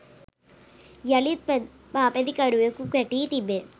යළිත් පාපැදිකරුවෙකු ගැටී තිබේ